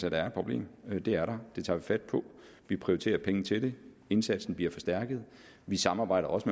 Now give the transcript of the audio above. at der er et problem det er der det tager vi fat på vi prioriterer pengene til det indsatsen bliver forstærket vi samarbejder også